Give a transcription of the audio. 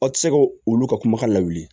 Aw tɛ se ka olu ka kumakan lawuli